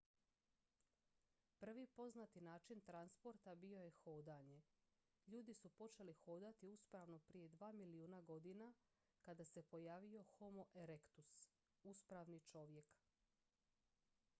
prvi poznati način transporta bio je hodanje ljudi su počeli hodati uspravno prije dva milijuna godina kada se pojavio homo erectus uspravni čovjek